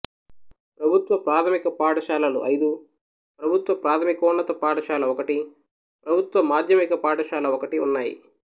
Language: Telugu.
ప్రభుత్వ ప్రాథమిక పాఠశాలలు ఐదు ప్రభుత్వ ప్రాథమికోన్నత పాఠశాల ఒకటి ప్రభుత్వ మాధ్యమిక పాఠశాల ఒకటి ఉన్నాయి